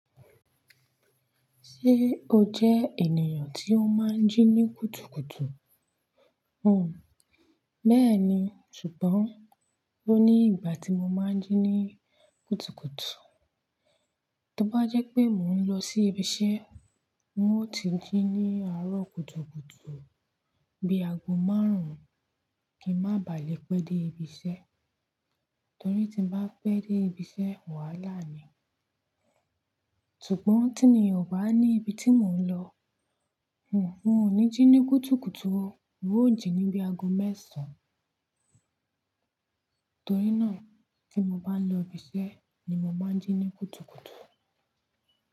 Ṣé o jẹ ènìyàn tí ó máa ń jí ní kùtùkùtù? O, bẹ́ẹ̀ni, ṣùgbọ́n ó ní ìgbà tí mo máa ń jí ní kùtùkùtù. Tí ó bá jẹ́ pé mò ń lọ sí ibi iṣẹ́, mo ti jí ní àárọ̀ kùtùkùtù bí aago márùn-ún kí n má baà lè pẹ́ dé ibi iṣẹ́. Torí tí n bá pẹ́ dé ibi iṣẹ́, wàhálà ni. Ṣùgbọ́n tí mi o bá ní ibi tí mò ń lọ, un, n ò ní jí ní kùtùkùtù ó, n ó jí ní bí aago mẹ́sàn-án. Torí náà tí mo bá ń lọ ibi iṣẹ́ ni mo máa ń jí ní kùtùkùtù.